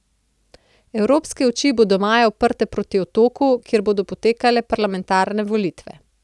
Evropske oči bodo maja uprte proti Otoku, kjer bodo potekale parlamentarne volitve.